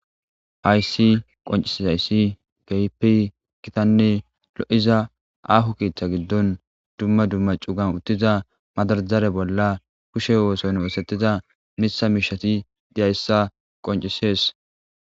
Hayssi qoncisisayssi geyipi kitanne lo'iza ahu kiiththa giddon dumma dumma cugan uttiza madarajare bolla kushe wooson woosetiza mitha miishati deyayssa qoncisees.